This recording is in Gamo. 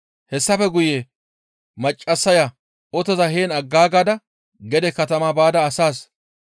Hessafe guye maccassaya otoza heen aggaagada gede katama baada asaas,